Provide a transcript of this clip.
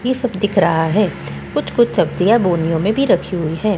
ये सब दिखा रहा है कुछ-कुछ सब्जियां बोरियों में भी रखी हुई हैं।